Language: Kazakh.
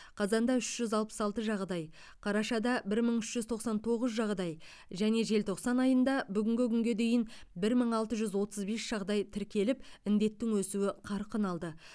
қазанда үш жүз алпыс алты жағдай қарашада бір мың үш жүз тоқсан тоғыз жағдай және желтоқсан айында бүгінгі күнге дейін бір мың алты жүз отыз бес жағдай тіркеліп індеттің өсуі қарқын алды